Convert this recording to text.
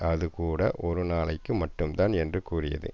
அது கூட ஒரு நாளைக்கு மட்டும் தான் என்று கூறியது